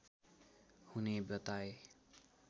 हुने बताए